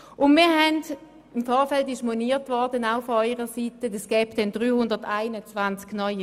Von Ihrer Seite wurde im Vorfeld moniert, es würden sich daraus 321 neue Regelungen ergeben.